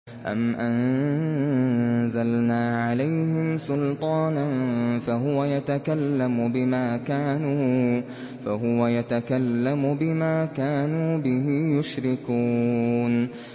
أَمْ أَنزَلْنَا عَلَيْهِمْ سُلْطَانًا فَهُوَ يَتَكَلَّمُ بِمَا كَانُوا بِهِ يُشْرِكُونَ